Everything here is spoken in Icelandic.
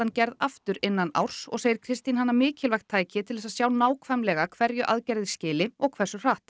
gerð aftur innan árs og segir Kristín hana mikilvægt tæki til að sjá nákvæmlega hverju aðgerðir skili og hversu hratt